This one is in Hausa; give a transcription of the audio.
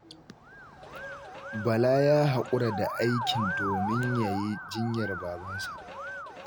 Bala ya haƙura da aikin domin ya yi jinyar babansa.